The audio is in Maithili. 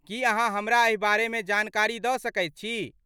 की अहाँ हमरा एहि बारेमे जानकारी दऽ सकैत छी?